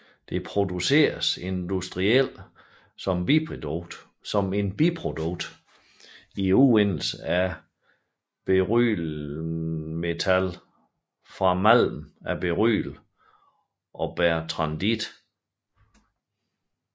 Det produceres industrielt som et biprodukt i udvindelsen af berylliummetal fra malmen af beryl og bertrandit